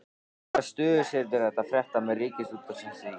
Hvaða stöðu setur þetta fréttamenn Ríkisútvarpsins í?